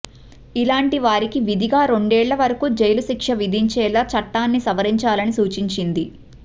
ఇలాంటి వారికి విధిగా రెండేళ్ల వరకూ జైలు శిక్ష విధించేలా చట్టాన్ని సవరించాలని సూచించింది